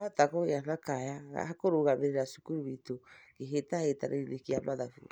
Nĩ ndahota kũgĩa kaya gakũrũgamĩrĩra cukuru witũ kĩhĩtahĩtano-inĩ kĩa mathabu